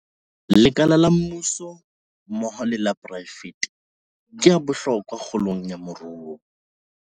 Lekala la mmuso mmoho le la poraefete ke a bohlokwa kgolong ya moruo